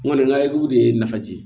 N kɔni ka ekipu de ye nafa di